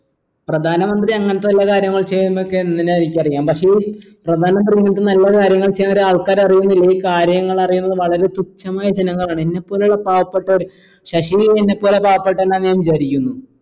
പ്രധാന മന്ത്രി അങ്ങനത്തെ വല്ല കാര്യങ്ങൾ ചെയ്യുന്നതൊക്കെ എന്തിനാ എനിക്കറിയാം പക്ഷെ ഈ പ്രധാന മന്ത്രി ഇങ്ങത്തെ നല്ല കാര്യങ്ങൾ ചെയ്യൻ ഒരാൾക്കാർ അറിയുന്നില്ല ഈ കാര്യങ്ങൾ അറിയുന്ന വളരെ തുച്ഛമായ ജനങ്ങളാണ് എന്നെ പോലുള്ള പാവപ്പെട്ടവർ ശശിയും എന്നെ പോലെ പാവപെട്ടവനാണെന്ന് ഞാൻ വിചാരിക്കുന്നു